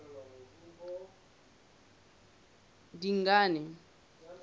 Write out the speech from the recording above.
dingane